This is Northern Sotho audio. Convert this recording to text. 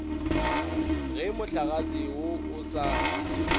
ge mohlagase wo o sa